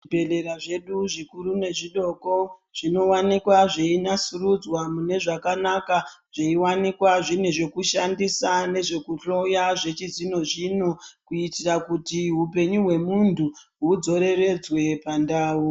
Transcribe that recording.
Zvibhedhlera zvedu zvikuru nezvidoko zvinowanikwa zveinasurudzwa mune zvakanaka zveiwanikwa zvine zvekushandisa nezvekuhloya zvechizvino zvino kuitira kuti hupenyu hwemuntu udzoreredzwe pandau.